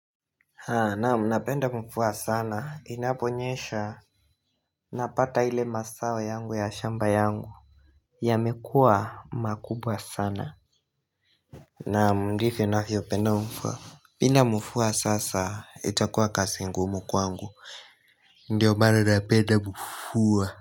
Naam napenda mvua sana inaponyesha Napata ile mazao yangu ya shamba yangu yamekua makubwa sana Naam ndivyo navyopenda mvua bila mua sasa itakuwa kazi ngumu kwangu Ndio maana napenda mvua.